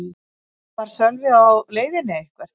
Var Sölvi á leiðinni eitthvert?